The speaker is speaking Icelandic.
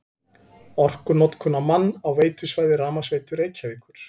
Orkunotkun á mann á veitusvæði Rafmagnsveitu Reykjavíkur